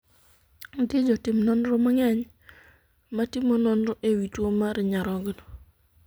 Nitie jotim nonro mang'eny matimo nonro e wii tuo mar nyarogno.